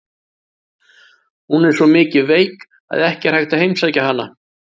Hún er svo mikið veik að ekki er hægt að heimsækja hana.